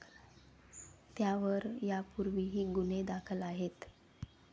त्यावर यापूर्वीही गुन्हे दाखल आहेत.